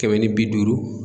Kɛmɛ ni bi duuru.